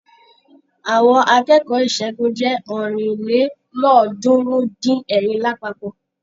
Àwọn akẹ́kọ̀ọ́ ìṣègùn jẹ́ ọ̀rìnlélọ́ọ̀ọ́dúnrún-dín-ẹ̀rin lápapọ̀.